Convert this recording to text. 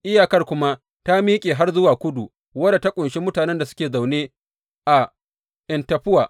Iyakar kuma ta miƙe har zuwa kudu wadda ta ƙunshi mutanen da suke zaune a En Taffuwa.